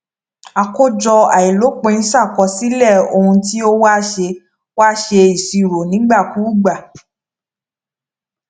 àkójọ àìlopin ṣàkọsílẹ ohun tí ó wà ṣe wà ṣe ìṣirò nígbàkúùgbà